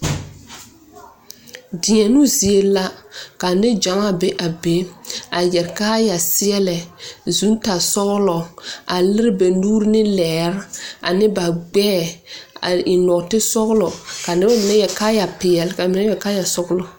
Deɛnʋ zeɛ la ka ninjamaa bɛ a bɛ a yɛre kaaya seɛlɛ zʋ tar sɔglo a lire ba nuure ne leɛrɛ ane ba gbɛɛ a eŋ noɔti sɔglɔ ka mene meŋ yɛrɛ kaaya peɛlɛ ka mene yɛre kaaya sɔglʋ.